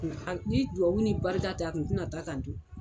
Ni dubabu ni barika tɛ a kun tɛna taa ka n to.